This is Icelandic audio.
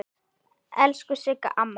Elsku Sigga amma.